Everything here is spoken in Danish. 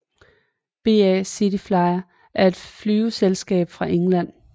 BA CityFlyer er et flyselskab fra England